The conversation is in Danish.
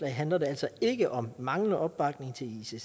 handler det altså ikke om manglende opbakning til